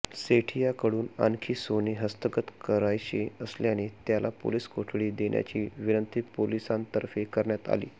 सेठियाकडून आणखी सोने हस्तगत करायचे असल्याने त्याला पोलीस कोठडी देण्याची विनंती पोलिसांतर्फे करण्यात आली